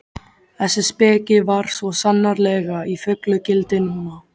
Þessi speki var svo sannarlega í fullu gildi núna.